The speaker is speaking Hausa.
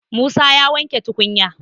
Musa ya wanke tukunya